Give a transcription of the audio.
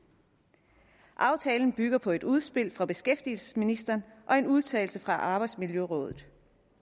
aftalen bygger på et udspil fra beskæftigelsesministeren og en udtalelse fra arbejdsmiljørådet